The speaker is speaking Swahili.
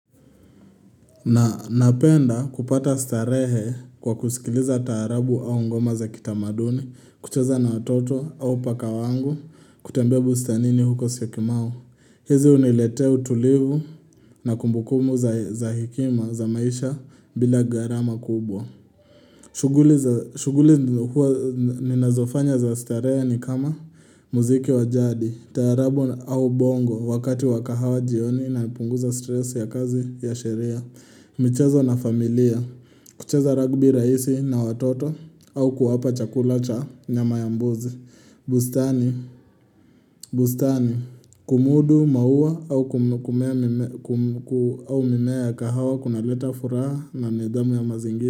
Na napenda kupata starehe kwa kusikiliza taarabu au ngoma za kitamaduni, kucheza na watoto au paka wangu, kutembea buustanini huko syokimau. Hizi huniletea utulivu na kumbukumbu za hekima za maisha bila garama kubwa. Shuguli huwa ninazofanya za starehe ni kama muziki wa jadi, taarabu au bongo wakati wa kahawa jioni na nipunguza stress ya kazi ya sheria. Michezo na familia kucheza ragbi raisi na watoto au kuwapa chakula cha nyama yama mbuzi bustani bustani Kumudu maua au mimea ya kahawa kunaleta furaha na nidhamu ya mazingira.